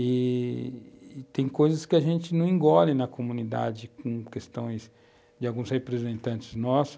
E tem coisas que a gente não engole na comunidade com questões de alguns representantes nossos.